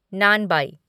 नानबाई